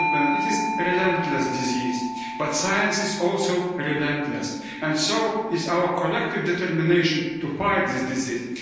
them. It is a relentless disease, but science is also a relentless, and so is our collective determination to fight this disease.